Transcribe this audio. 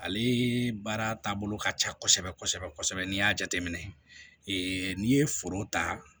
Ale baara taabolo ka ca kosɛbɛ kosɛbɛ kosɛbɛ n'i y'a jateminɛ n'i ye foro ta